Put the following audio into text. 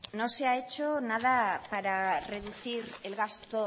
no se ha hecho nada para reducir el gasto